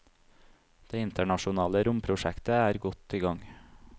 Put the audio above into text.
Det internasjonale romprosjektet er godt i gang.